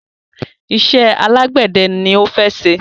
Iṣẹ́ alágbẹ̀dẹ ni ó fẹ́ ṣe.